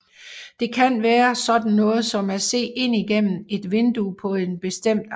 Det kan være sådan noget som at se ind gennem et vindue på en bestemt aften